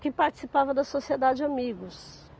que participava da Sociedade Amigos.